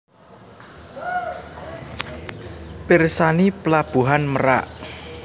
Pirsani Pelabuhan Merak